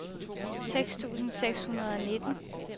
seks tusind seks hundrede og nitten